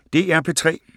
DR P3